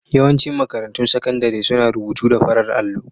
Yawancin makarantun sakandare suna rubutu da farar allo.